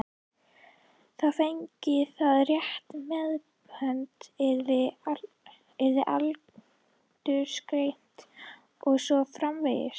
Þar fengi það rétta meðhöndlun, yrði aldursgreint og svo framvegis.